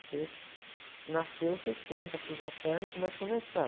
Você, nasceu, você senta, cruza a perna e começa a conversar.